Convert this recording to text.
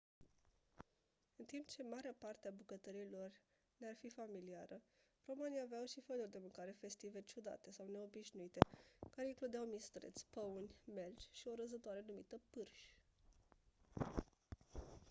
în timp ce marea parte a bucătăriei lor ne-ar fi familiară romanii aveau și feluri de mâncare festive ciudate sau neobișnuite care includeau mistreți păuni melci și o rozătoare numită pârș